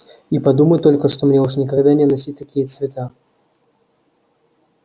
и подумать только что мне уж никогда не носить такие цвета